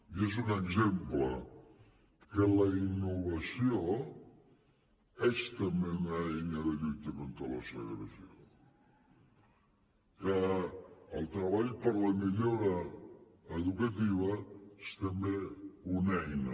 i és un exemple que la innovació és també una eina de lluita contra la segregació que el treball per la millora educativa és també una eina